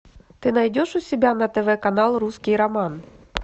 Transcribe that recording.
ты найдешь у себя на тв канал русский роман